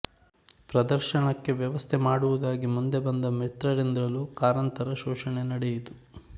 ಪ್ರದರ್ಶನಕ್ಕೆ ವ್ಯವಸ್ಥೆ ಮಾಡುವುದಾಗಿ ಮುಂದೆ ಬಂದ ಮಿತ್ರರಿಂದಲೂ ಕಾರಂತರ ಶೋಷಣೆ ನಡೆಯಿತು